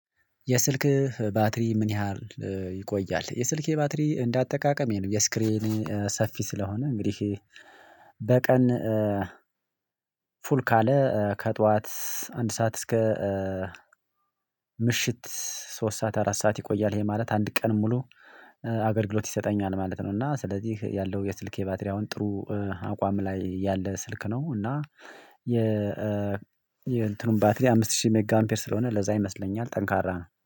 የስልክህ ባትሪ ምን ያህል ይቆያል? የስልኬ ባትሪ እንደ አጠቃቀሜ ነው። የስክሪኔ ሰፊ ስለሆነ እንግዲህ በቀን ፉል ካለ ከጥዋት አንድ ሰዓት እስከ ምሽት ሶስት ሰዓት አራት ሰዓት ይቆያል ይሄ ማለት አንድ ቀን ሙሉ አገልግሎት ይሰጠኛል ማለት ነው እና ስለዚህ ያለው የስልኬ ባትሪ አሁን ጥሩ አቋም ላይ ያለ ስልክ ነው እና የ የእንትኑን ባትሪ አምስት ሺህ ሜጋ አምፔር ስለሆነ ለዛ ይመስለኛል ጠንካራ ነው።